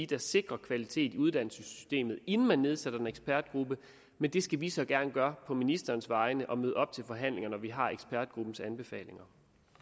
der sikrer kvalitet i uddannelsessystemet inden man nedsætter en ekspertgruppe men det skal vi så gerne gøre på ministerens vegne og møde op til forhandlinger når vi har ekspertgruppens anbefalinger